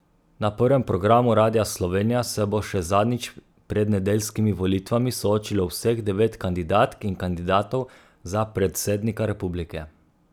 Na prvem programu Radia Slovenija se bo še zadnjič pred nedeljskimi volitvami soočilo vseh devet kandidatk in kandidatov za predsednika republike.